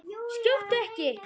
Skjóttu ekki.